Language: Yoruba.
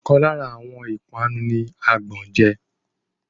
Ọ̀kan lára àwọn ìpanu ní àgbọ́n je